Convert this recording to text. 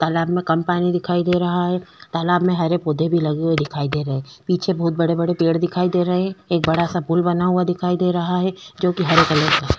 तालाब में कम पानी दिखाई दे रहा है तालाब में हरे पौधे भी लगे हुए दिखाई दे रहै है पीछे बहुत बड़े-बड़े पेड़ दिखाई दे रहै हैं एक बड़ा सा पुल बना हुआ दिखाई दे रहा है हरे कलर का है।